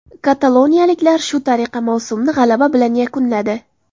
Kataloniyaliklar shu tariqa mavsumni g‘alaba bilan yakunladi.